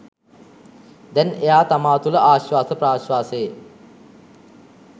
දැන් එයා තමා තුළ ආශ්වාස ප්‍රශ්වාසයේ